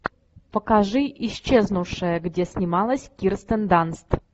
покажи исчезнувшая где снималась кирстен данст